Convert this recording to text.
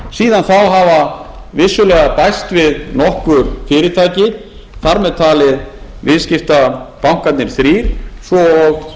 síðan þá hafa vissulega bæst við nokkur fyrirtæki þar með talið viðskiptabankarnir þrír svo og